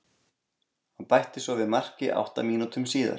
Hann bætti svo við marki átta mínútum síðar.